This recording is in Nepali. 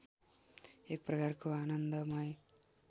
एक प्रकारको आनन्दमय